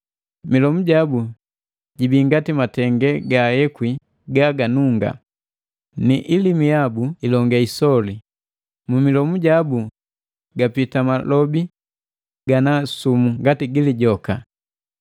Milomu jabu jibii ngati matenge gaayekwi gaganunga, ni ilimi yabu ilonge isoli mu milomu jabu gapita malobi gana sumu ngati gi lijoka.